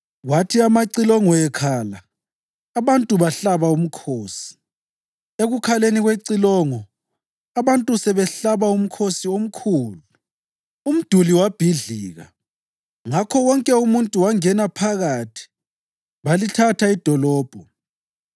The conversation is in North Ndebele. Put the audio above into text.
Kwathi amacilongo ekhala abantu bahlaba umkhosi; ekukhaleni kwecilongo, abantu sebehlaba umkhosi omkhulu, umduli wabhidlika, ngakho wonke umuntu wangena phakathi balithatha idolobho.